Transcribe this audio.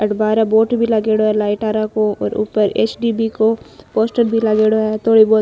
अठ बार बोर्ड भी लागेड़ो है लाइट आरा को और ऊपर एस डी बी को पोस्टर भी लागेड़ो है थोड़ी बहुत --